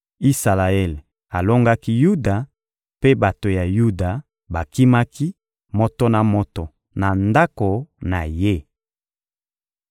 Isalaele alongaki Yuda, mpe bato ya Yuda bakimaki, moto na moto na ndako na ye.